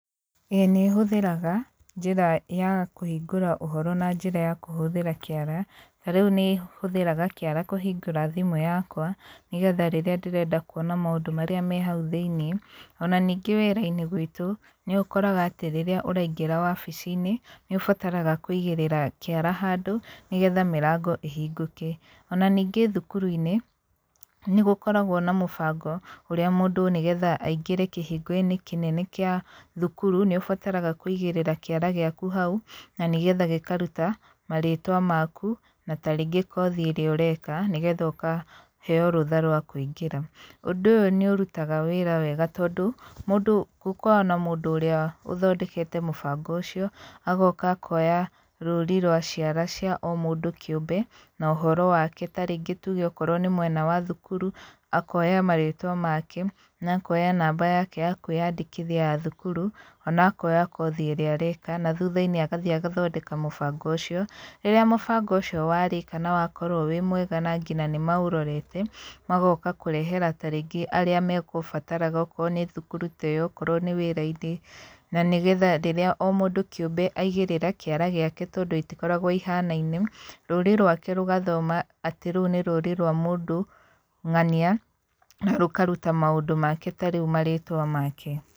ĩĩ nĩ hũthĩraga, njĩra ya kũhingũra ũhoro na njĩra ya kũhũthĩra kĩara, ta rĩu nĩ hũthĩraga kĩara kũhingũra thimũ yakwa, nĩ getha rĩrĩa ndĩrenda kuona maũndũ marĩa me hau thĩiniĩ. Ona ningĩ wĩra-inĩ gwitũ, nĩ ũkoraga atĩ rĩrĩa ũraingĩra wabici-inĩ, nĩ ũbataraga kũigĩrĩra kĩara handũ nĩ getha mĩrango ĩhingũke. Ona ningĩ thukuru-inĩ, nĩ gũkoragwo na mũbango ũrĩa mũndũ nĩgetha aingĩre kĩhingo-inĩ kĩnene kĩa thukuru, nĩ ũbataraga kũigĩrĩra kĩara gĩaku hau, na nĩgetha gĩkaruta marĩtwa maku, na tarĩngĩ kothi ĩrĩa ũreka nĩgetha ũkaheo rũtha rwa kũingĩra. Ũndũ ũyũ nĩ ũrutaga wĩra wega tondũ, mũndũ gũkoragwo na mũndũ ũrĩa ũthondekete mũbango ũcio agoka akoya rũri rwa ciara cia o mũndũ kĩũmbe, na ũhoro wake tarĩngĩ tuge okorwo nĩ mwena wa thukuru, akoya marĩtwa make, na akoya namba yake ya kwĩyandĩkithia ya thukuru, ona akoya kothi ĩrĩa areka na thutha-inĩ agathiĩ agathondeka mũbango ũcio. Rĩrĩa mũbango ũcio warĩka na wakorwo wĩ mwega na ngina nĩ maũrorete, magoka kũrehera tarĩngĩ arĩa megũbataraga okorwo nĩ thukuru ta ĩyo, okorwo nĩ wĩra-inĩ, na nĩ getha rĩrĩa o mũndũ kĩũmbe aigĩrĩra kĩara gĩake tondũ itikoragwo ihanaine, rũri rwake rũgathoma atĩ rũu nĩ rũri rwa mũndũ ng'ania, na rũkaruta maũndũ make ta rĩu marĩtwa make.